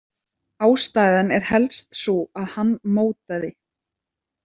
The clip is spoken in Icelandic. Ástæðan er helst sú að hann mótaði.